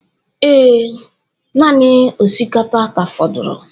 Ee, naanị osikapa ka fọdụrụ